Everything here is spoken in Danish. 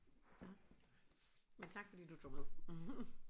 Så men tak fordi du tog med